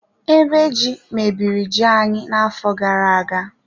Ebe ji, mebiri ji anyị na-afọ gara-aga